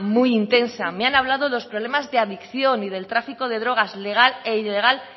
muy intensa me han hablado de los problemas de adicción y del tráfico de drogas legal e ilegal